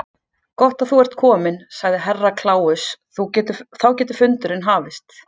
Gott að þú ert kominn, sagði Herra Kláus, þá getur fundurinn hafist.